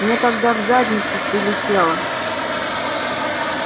мне тогда в задницу прилетело